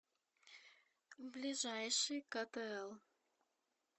ближайший ктл